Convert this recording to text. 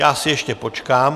Já si ještě počkám.